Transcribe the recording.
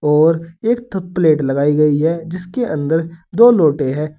और एक थो प्लेट लगाई गई है जिसके अंदर दो लोटे है।